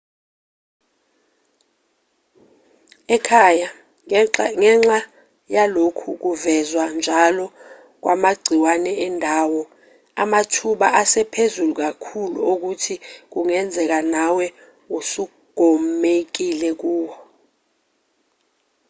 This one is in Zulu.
ekhaya ngenxa yalokhu kuvezwa njalo kwamagciwane endawo amathuba asephezulu kakhulu okuthi kungenzeka nawe usugomekile kuwo